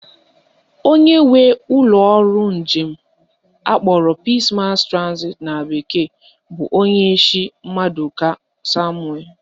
Onye nwe ụlọọrụ njem akpọrọ Peace Mass Transit na bekee bụ Onyeishi Mmadụka Samuel